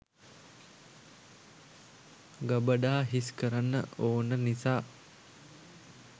ගබඩා හිස් කරන්න ඕන නිසා.